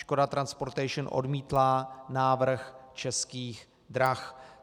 Škoda Transportation odmítla návrh Českých drah.